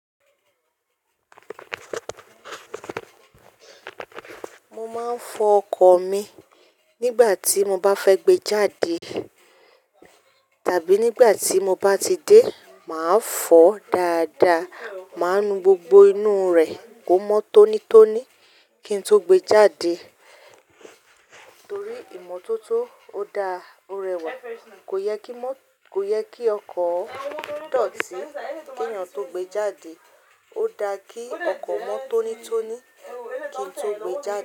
Mo máa ń fọ ọkọ̀ mi nígbà tí mo bá fẹ́ gbé jáde tàbí nígbà tí mo bá ti dé, màá fọ́ dáadáa, màá nu gbogbo inú rẹ̀ kó mọ́ tónítóní kí n tó gbé jáde. Torí ìmọ́tótó ó da, ó rẹwà. Kò yẹ kí mọ́, kò yẹ kí ọkọ̀ dọ̀tí kí èèyàn tó gbé jáde. Ó da kí ọkọ̀ mọ́ tónítóní kí n tó gbé jáde.